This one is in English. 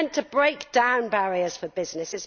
It is meant to break down barriers for business.